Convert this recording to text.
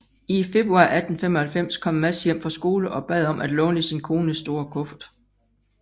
I februar 1895 kom Mads hjem fra skole og bad om at låne sin kones store kuffert